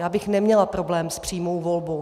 Já bych neměla problém s přímou volbou.